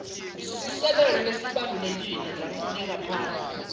sisekelo lesibalulekile lengaphandle